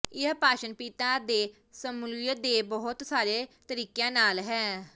ਇਹ ਭਾਸ਼ਣ ਪਿਤਾ ਦੇ ਸ਼ਮੂਲੀਅਤ ਦੇ ਬਹੁਤ ਸਾਰੇ ਤਰੀਕਿਆਂ ਨਾਲ ਹੈ